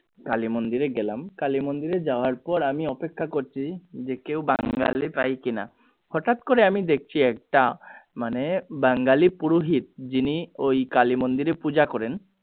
কালী মন্দিরে গেলাম কালী মন্দিরে যাওয়ার পর আমি অপেক্ষা করছি যে কেউ বাঙালি পাই কিনা হটাৎ করে আমি দেখছি একটা মানে বাঙালি পুরোহিত যিনি ওই কালী মন্দিরে পূজা করেন।